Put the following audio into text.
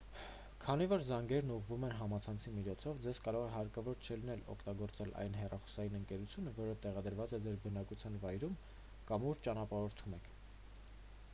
քանի որ զանգերն ուղղվում են համացանցի միջոցով ձեզ կարող է հարկավոր չլինել օգտագործել այն հեռախոսային ընկերությունը որը տեղակայված է ձեր բնակության վայրում կամ ուր ճանապարհորդում եք